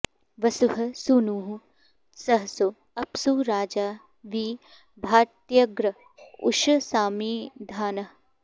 वसुः॑ सू॒नुः सह॑सो अ॒प्सु राजा॒ वि भा॒त्यग्र॑ उ॒षसा॑मिधा॒नः